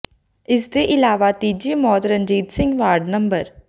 ਇਸ ਦੇ ਇਲਾਵਾ ਤੀਜੀ ਮੌਤ ਰਣਜੀਤ ਸਿੰਘ ਵਾਰਡ ਨੰਬਰ